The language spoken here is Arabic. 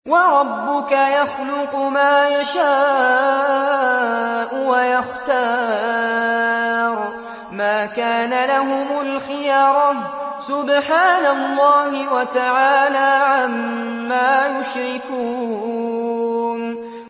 وَرَبُّكَ يَخْلُقُ مَا يَشَاءُ وَيَخْتَارُ ۗ مَا كَانَ لَهُمُ الْخِيَرَةُ ۚ سُبْحَانَ اللَّهِ وَتَعَالَىٰ عَمَّا يُشْرِكُونَ